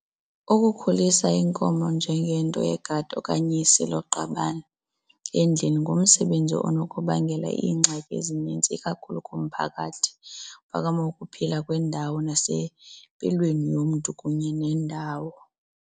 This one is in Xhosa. Ukukhulisa iinkomo njengento yegadi okanye isiloqabane endlini ngumsebenzi okunokubangela iingxaki ezinintsi ikakhulu kumphakathi, phakama ukuphila kwendawo nasempilweni yomntu kunye nendawo.